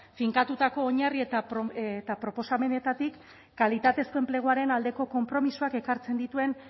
finkatutako oinarri eta proposamenetatik kalitatezko enpleguaren aldeko konpromisoak ekartzen dituen